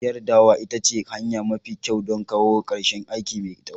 Giyar dawa ita ce hanya mafi kyau don kawo ƙarshen aiki mai tsawo.